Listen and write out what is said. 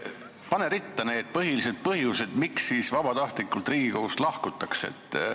Palun pane ritta need põhilised põhjused, miks siis vabatahtlikult Riigikogust lahkutakse!